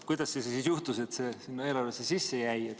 Kuidas siis juhtus, et see eelarvesse sisse jäi?